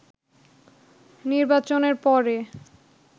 “নির্বাচনের পরে